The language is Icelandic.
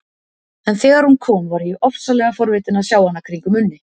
En þegar hún kom var ég ofsalega forvitin að sjá hana kringum Unni.